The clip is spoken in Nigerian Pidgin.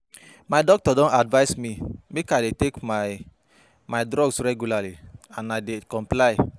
My doctor don advice me make I dey take my my drugs regularly and I dey comply